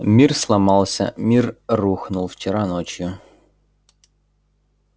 мир сломался мир рухнул вчера ночью